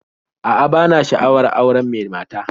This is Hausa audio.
A'a, bana sha'awar auren mai mata